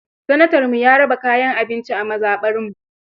Sanatanmu ya raba kayan abinci a mazaɓarmu.